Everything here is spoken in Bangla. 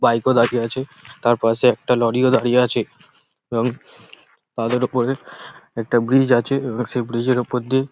বাইক ও দাঁড়িয়ে আছে তারপাশে একটা লরি -ও দাঁড়িয়ে আছে এবং তাদের ওপরে একটা ব্রিজ আছে এবং সেই ব্রিজ -এর ওপর দিয়ে --